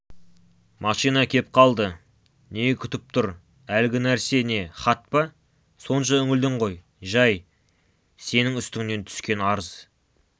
машина кеп қалды не күтіп тұр әлгі нәрсе не хат па сонша үңілдің ғой жай сенін үстіңнен түскен арыз